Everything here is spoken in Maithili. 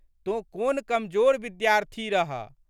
तोँ कोन कमजोर विद्यार्थी रहह।